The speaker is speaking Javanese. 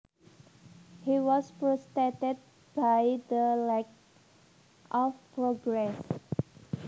He was frustrated by the lack of progress